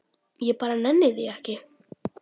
Ég bara nenni því ekki.